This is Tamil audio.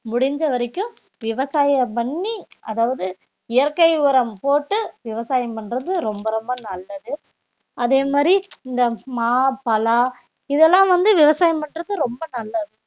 முடிஞ்ச வரைக்கும் விவசாயம் பண்ணி அதாவது இயற்கை உரம் போட்டு விவசாயம் பண்றது ரொம்ப ரொம்ப நல்லது அதே மாதிரி இந்த மா, பலா இதெல்லாம் வந்து விவசாயம் பண்றது ரொம்ப நல்லது